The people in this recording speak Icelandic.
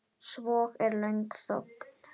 Svo er löng þögn.